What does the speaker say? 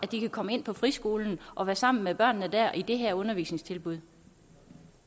de kan komme ind på friskolen og være sammen med børnene der i det her undervisningstilbud